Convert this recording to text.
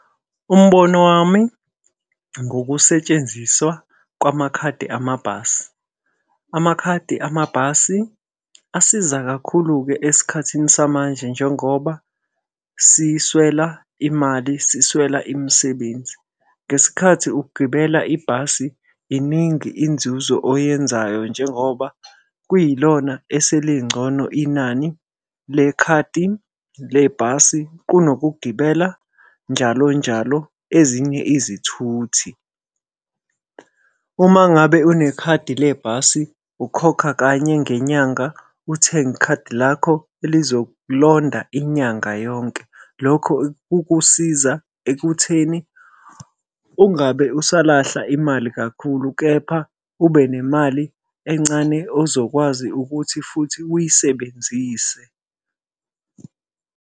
Umbono wami ngokusetshenziswa kwamakhadi amabhasi. Amakhadi amabhasi asiza kakhulu-ke esikhathini samanje njengoba siswela imali, siswela imisebenzi. Ngesikhathi ugibela ibhasi, iningi inzuzo oyenzayo njengoba kwilona eselingcono inani lekhadi lebhasi kunokugibela njalo njalo ezinye izithuthi. Uma ngabe unekhadi lebhasi, ukhokha kanye ngenyanga, uthenge ikhadi lakho elizokulonda inyanga yonke. Lokho kukusiza ekutheni ungabe usalahla imali kakhulu, kepha ube nemali encane ozokwazi ukuthi futhi uyisebenzise.